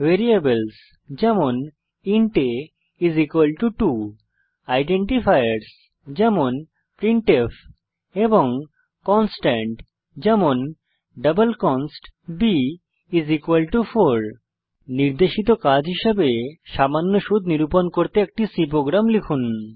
variables যেমন int a two identifiers যেমন printf এবং কনস্ট্যান্ট যেমন ডাবল কনস্ট b4 নির্দেশিত কাজ হিসাবে সিম্পল ইন্টারেস্ট নিরূপণ করতে একটি C প্রোগ্রাম লিখুন